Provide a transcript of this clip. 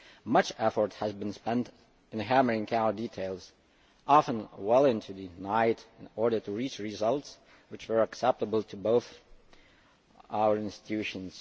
Much effort has been spent in hammering out details, often well into the night, in order to reach results which were acceptable to both our institutions.